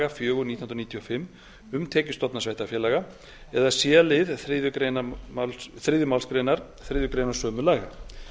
fjögur nítján hundruð níutíu og fimm um tekjustofna sveitarfélaga eða c lið þriðju málsgrein þriðju grein sömu laga